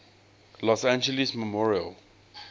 los angeles memorial